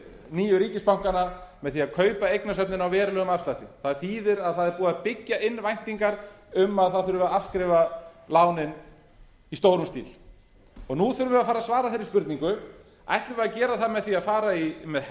nýju ríkisbankana með því að kaupa eignasafnið með verulegum afslætti það þýðir að það er búið að byggja inn væntingar um að það þurfi að afskrifa lánin í stórum stíl og nú þurfum við að fara að svara þeirri spurningu ætlum við að gera það með að fara með